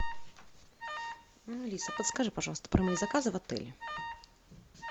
алиса подскажи пожалуйста про мои заказы в отеле